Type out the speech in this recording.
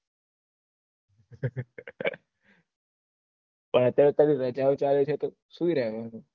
હા તો અત્યારે રજાઓ ચાલે છે તો સુઈ રેહવાનું